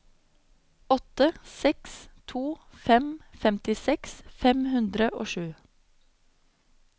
åtte seks to fem femtiseks fem hundre og sju